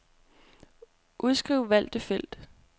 Udskriv valgte felt.